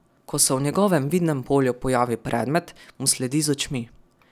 Ko se v njegovem vidnem polju pojavi predmet, mu sledi z očmi.